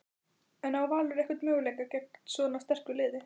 En á Valur einhvern möguleika gegn svona sterku liði?